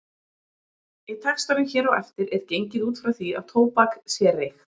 Í textanum hér á eftir er gengið út frá því að tóbak sé reykt.